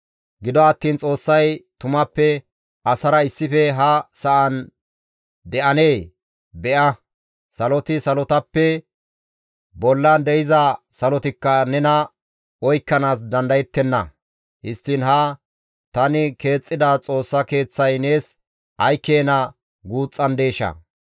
«Gido attiin Xoossay tumappe asara issife ha sa7an de7anee? Be7a, saloti, salotappe bollan de7iza salotikka nena oykkanaas dandayettenna. Histtiin hayssi tani keexxida Xoossa Keeththay nees ay keena guuxxandeeshaa!